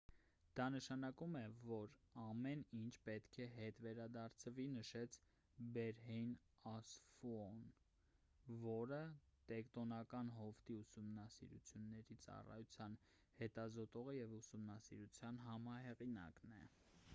դա նշանակում է որ ամեն ինչ պետք է հետ վերադարձվի»,- նշեց բերհեյն ասֆոուն որը տեկտոնական հովտի ուսումնասիրությունների ծառայության հետազոտողը և ուսումնասիրության համահեղինակն է: